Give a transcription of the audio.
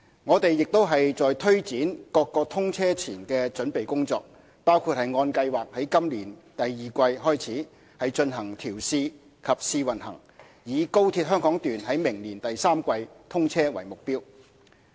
我們亦在推展各項通車前的準備工作，包括按計劃於今年第二季開始進行調試及試運行，以高鐵香港段於明年第三季通車為目標。